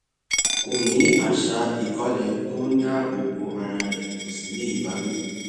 kó o ní àṣà ìkólé tó ń dáàbò bo ara rẹ kó o sì ní ìbáwí